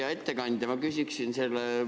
Hea ettekandja!